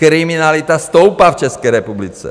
Kriminalita stoupá v České republice.